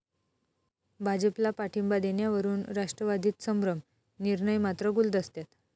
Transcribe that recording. भाजपला पाठिंबा देण्यावरून राष्ट्रवादीत संभ्रम, निर्णय मात्र गुलदस्त्यात